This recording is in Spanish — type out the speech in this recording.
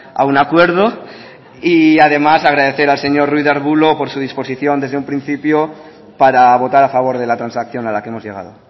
a un acuerdo y además agradecer al señor ruiz de arbulo por su disposición desde un principio para votar a favor de la transacción a la que hemos llegado